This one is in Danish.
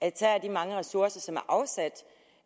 mange ressourcer som